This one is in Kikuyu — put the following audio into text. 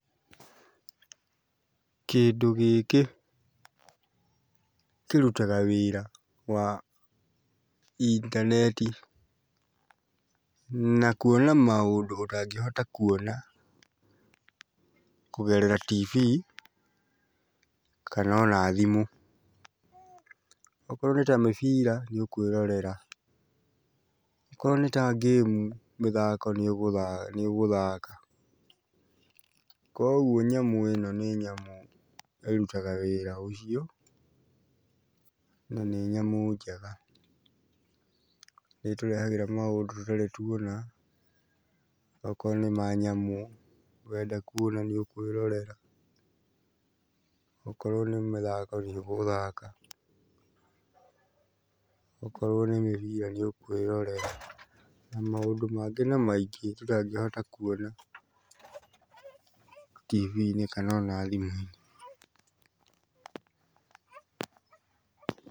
Kĩndũ gĩkĩ kĩrutaga wĩra wa intaneti na kuona maũndũ ũtangĩhota kuona kũgerera TV, kana ona thimũ. Okorwo nĩta mĩbira nĩũkwĩrorera, okorwo nĩ ta ngĩmu, mĩthako nĩũgũthaka. Koguo nyamũ ĩno nĩ nyamũ ĩrutaga wĩra ũcio, na nĩ nyamũ njega. Nĩĩtũrehagĩra maũndũ tũtarĩ tuona, okorwo nĩ ma nyamũ, wenda kuona nĩũkwĩrorera, okorwo nĩ mĩthako nĩũgũthaka, okorwo nĩ mĩbira nĩũkwĩrorera. Na maũndũ mangĩ na maingĩ tũtangĩhota kuona TV-inĩ kana ona thimũ-inĩ.